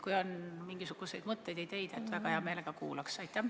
Kui on mingisuguseid mõtteid ja ideid, siis väga hea meelega kuulaks.